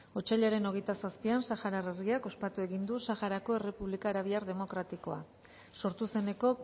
otsailaren hogeita zazpian saharar herriak ospatu egin du saharako errepublika arabiar demokratikoa sortu zeneko